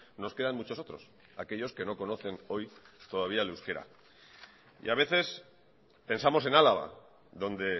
nos quedan muchos otros aquellos que no conocen hoy todavía el euskera y a veces pensamos en álava donde